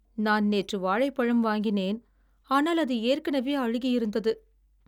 நான் நேற்று வாழைப்பழம் வாங்கினேன். ஆனால் அது ஏற்கனவே அழுகியிருந்தது.